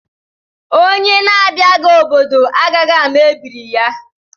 Onye na abịaghị obodo agaghị ama ebiri ya